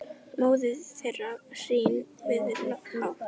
móðir þeirra hrín við hátt